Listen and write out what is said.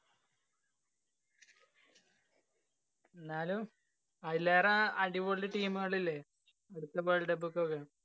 ന്നാലും അയിലേറെ അടിപൊളി team കളില്ലേ? അടുത്ത world cup ല്‍ക്കൊക്കെ